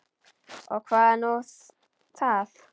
Og hvað er nú það?